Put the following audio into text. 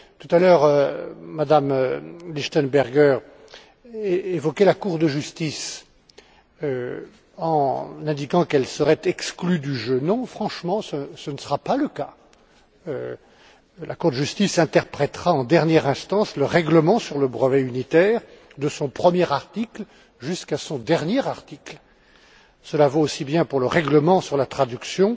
Tout à l'heure, Mme Lichtenberger évoquait la Cour de justice, en indiquant qu'elle serait exclue du jeu. Non, franchement, ce ne sera pas le cas. La Cour de justice interprétera en dernière instance le règlement sur le brevet unitaire, du premier article au dernier article. Cela vaut aussi bien pour le règlement sur la traduction